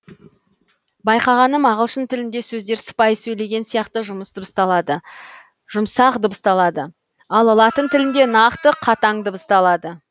байқағаным ағылшын тілінде сөздер сыпайы сөйлеген сияқты дыбысталады ал латын тілінде нақты қатаң дыбысталады